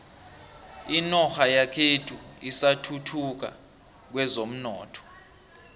inorha yekhethu isathuthuka kwezomnotho